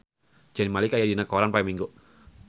Zayn Malik aya dina koran poe Minggon